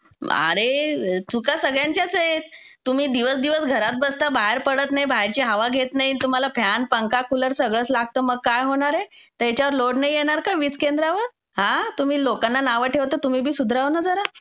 आरे, चुका सगळ्यांच्याच ऐ. तुम्ही दिवस दिवस घरात बसता बाहेर पडत नई, बाहेरची हवा घेत नई. तुम्हाला फॅन, पंखा, कूलर सगळच लागतं मग काय होणारे. तेच्यावर लोड नई येणार का वीजकेंद्रावर? हां, तुम्ही लोक्कांना नावं ठेवता, तुम्ही बी सुधारवा ना जरा.